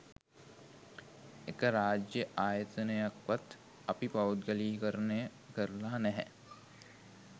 එක රාජ්‍ය ආයතනයක්වත් අපි පෞද්ගලීකරණය කරලා නැහැ